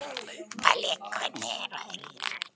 Balli, hvernig er veðrið í dag?